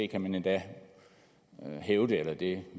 kan man endda hævde eller det